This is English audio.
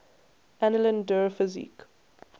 annalen der physik